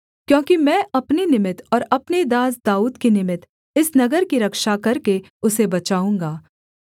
क्योंकि मैं अपने निमित्त और अपने दास दाऊद के निमित्त इस नगर की रक्षा करके उसे बचाऊँगा